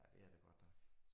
Ja det er det godt nok